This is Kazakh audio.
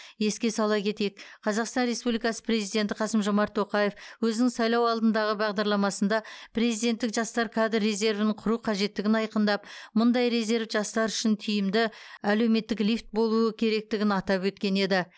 еске сала кетейік қазақстан республикасы президенті қасым жомарт тоқаев өзінің сайлау алдындағы бағдарламасында президенттік жастар кадр резервін құру қажеттігін айқындап мұндай резерв жастар үшін тиімді әлеуметтік лифт болуы керектігін атап өткен еді